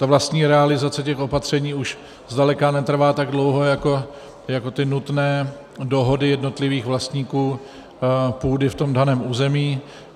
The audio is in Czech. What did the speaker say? Ta vlastní realizace těch opatření už zdaleka netrvá tak dlouho jako ty nutné dohody jednotlivých vlastníků půdy v tom daném území.